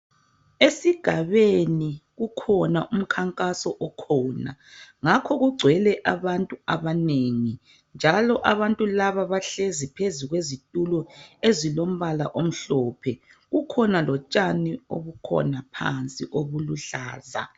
Esigabeni kukhona umkhankaso okhona ngakho kugcwele abantu abanengi njalo abantu laba bahlezi phezu kwezitulo ezilombala omhlophe kukhona lotshani obukhona phansi obuluhlaza